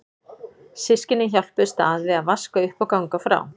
Systkynin hjálpuðust að við að vaska upp og ganga frá.